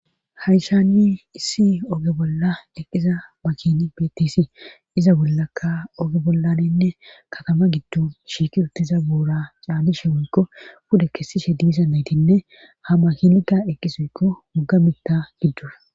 Hayisaanni issi oge bolla eqqisa makini bitis iza bollakka oge bollaninne katama giddu shiiki rutiza buura caanishe woykko puda kessishe diisa naytinne ha makinika eqqisoykko muga mita giddu